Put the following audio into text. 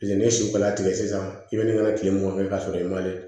ni su kola tigɛ sisan i bɛ na kile mugan kɛ k'a sɔrɔ i ma